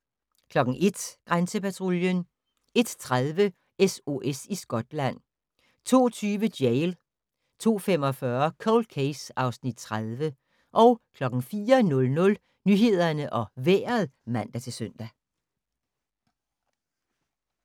01:00: Grænsepatruljen 01:30: SOS i Skotland 02:20: Jail 02:45: Cold Case (Afs. 30) 04:00: Nyhederne og Vejret (man-søn)